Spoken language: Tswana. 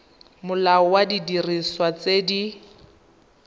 molao wa didiriswa tse di